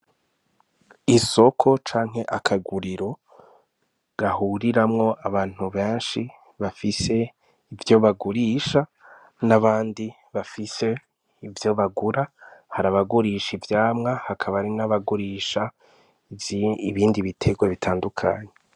Isoko canke akaguriro gahuriramwo abantu benshi bafise ivyo bagurisha n'abandi bafise ivyo bagura, hari abagurisha ivyamwa hakaba n'abagurisha ibindi bitegwa bitandukanye.